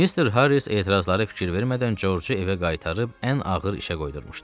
Mister Harris etirazlara fikir vermədən George-u evə qaytarıb ən ağır işə qoydurmuşdu.